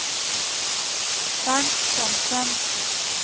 Bernt Thomsen